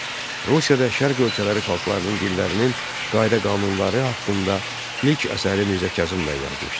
Rusiyada Şərq ölkələri xalqlarının dillərinin qayda-qanunları haqqında ilk əsəri Mirzə Kazım bəy yazmışdı.